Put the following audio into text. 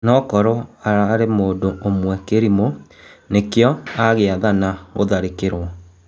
"Nokorwo ararĩ mũndũ ũmwe kĩ rimũ (nĩ kĩ o agĩ athana gũtharĩ kĩ rwo)."